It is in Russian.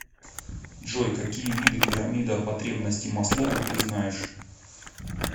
джой какие виды пирамида потребностей маслоу ты знаешь